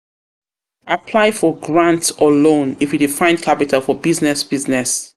for grants or loan if you de find capital for business business